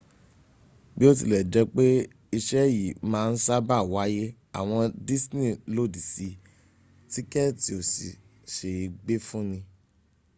biotilejepe ise yi maa n saba waye awon disney lodi si tíkẹ̀tì ò sí se é gbé fúni